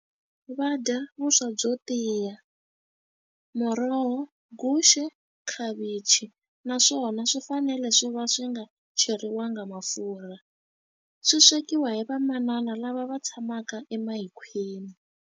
Va dya vuswa byo tiya, muroho, guxe, khavichi, naswona swi fanele swi va swi nga cheriwangi mafurha. Swi swekiwa hi vamanana lava va tshamaka .